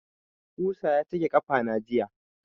Ƙusa ya cake ƙafana jiya.